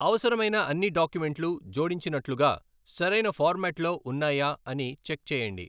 అవసరమైన అన్ని డాక్యుమెంట్లు జోడించినట్లుగా, సరైన ఫార్మెట్ల్లో ఉన్నాయా అని చెక్ చేయండి.